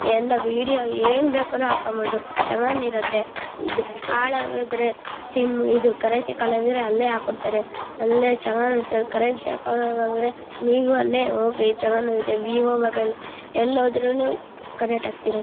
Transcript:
ಎಲ್ಲ ವಿಡಿಯೋ ಏನ್ ಬೇಕಾದ್ರು ಹಾಕೋಬಹುದು ಹಾಳಾಗಿದ್ರೆ ಕರೆನ್ಸಿ ಖಾಲಿ ಆದ್ರೂನು ಅಲ್ಲೇ ಹಾಕೊಡ್ತಾರೆ. ಕರೆನ್ಸಿ ಹಾಕೊಳ್ಳದೆ ಆದ್ರೆ ನೀವು ಹೋಗ್ರಿ ಚೆನ್ನಾಗ್ ಇರುತ್ತೆ ವಿವೊ ಮೊಬೈಲ್ ಎಲ್ ಹೊದ್ರುನು ಕನೆಕ್ಟ್ ಆಗುತ್ತೆ.